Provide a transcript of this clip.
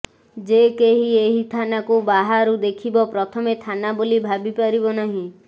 ଯେ କେହି ଏହି ଥାନାକୁ ବାହାରୁ ଦେଖିବ ପ୍ରଥମେ ଥାନା ବୋଲି ଭାବିପାରିବ ନାହିଁ